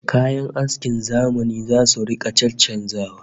Kayan askin zamani zasu rika caccanzawa